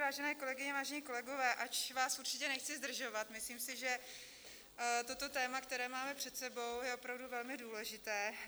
Vážené kolegyně, vážení kolegové, ač vás určitě nechci zdržovat, myslím si, že toto téma, které máme před sebou, je opravdu velmi důležité.